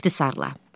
İxtisar-la.